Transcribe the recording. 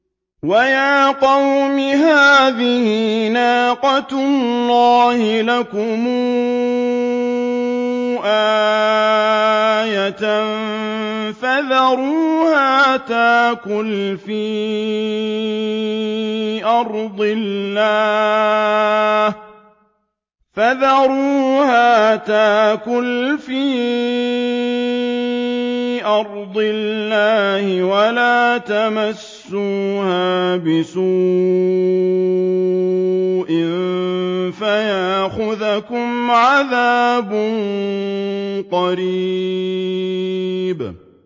وَيَا قَوْمِ هَٰذِهِ نَاقَةُ اللَّهِ لَكُمْ آيَةً فَذَرُوهَا تَأْكُلْ فِي أَرْضِ اللَّهِ وَلَا تَمَسُّوهَا بِسُوءٍ فَيَأْخُذَكُمْ عَذَابٌ قَرِيبٌ